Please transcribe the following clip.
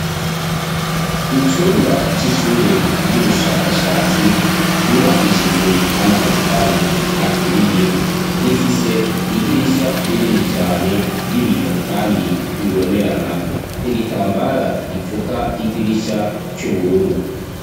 Icumba c'ishure ry'ubushakashatsi, ryubakishijwe amatafari aturiye, rifise idirisha rinini cane ry'ibiyo kandi bibonerana, igitambara gipfuka idirisha c'ubururu.